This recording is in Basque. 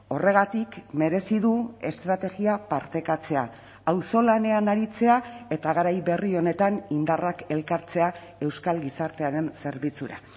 horregatik merezi du estrategia partekatzea auzolanean aritzea eta garai berri honetan indarrak elkartzea euskal gizartearen zerbitzura